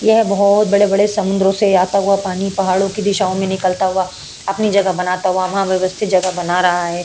यह बहुत बड़े बड़े समुन्द्रो से आता हुआ पानी पहाड़ो के दिशाओ में निकलता हुआ अपनी जगह बनाता हुआ वहाँ व्यवस्थित जगह बना रहा है।